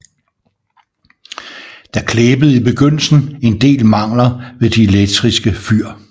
Der klæbede i begyndelsen en del mangler ved de elektriske fyr